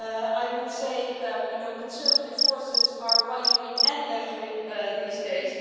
I would say, you know, conservative forces are right wing and left wing these days.